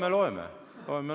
Ei, loeme, loeme.